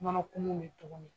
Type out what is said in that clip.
Mana fɛnnun bɛ togo min.